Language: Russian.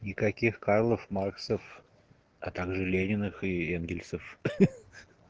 никаких карлов максов а также лениных энгельсов